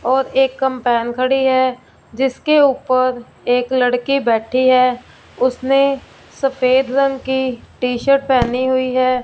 और एक कंपैन खड़ी है जिसके ऊपर एक लड़की बैठी है उसने सफ़ेद रंग की टी शर्ट पहनी हुई है।